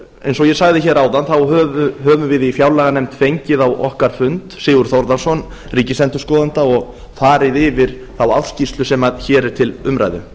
eins og ég sagði hér áðan höfum við í fjárlaganefnd fengið á okkar fund sigurð þórðarson ríkisendurskoðanda og farið yfir þá ársskýrslu sem hér er til umræðu